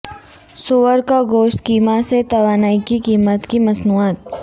سور کا گوشت کیما سے توانائی کی قیمت کی مصنوعات